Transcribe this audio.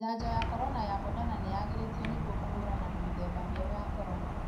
Janjo ya corona ya Moderna nĩyagĩrĩtio kũhũrana na mĩthemba mĩerũ ya corona.